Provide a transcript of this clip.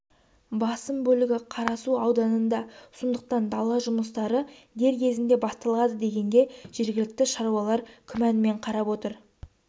басым бөлігі қарасу ауданында сондықтан дала жұмыстары дер кезінде басталады дегенге жергілікті шаруалар күмәнмен қарап отыр